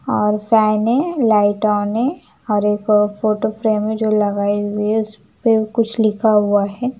और फैन है light on है और एक फोटो फ्रेम है जो लगाई हुई है उस पे कुछ लिखा हुआ है ।